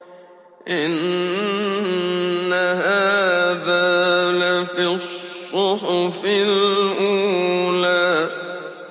إِنَّ هَٰذَا لَفِي الصُّحُفِ الْأُولَىٰ